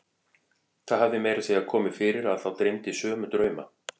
Það hafði meira að segja komið fyrir að þá dreymdi sömu drauma.